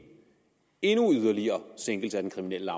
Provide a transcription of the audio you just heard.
en yderligere sænkelse af den kriminelle